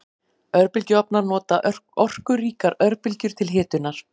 Örbylgjuofnar nota orkuríkar örbylgjur til hitunar.